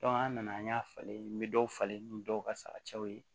an nana an y'a falen n be dɔw falen ni dɔw ka sara cɛw ye